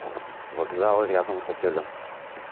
вокзалы рядом с отелем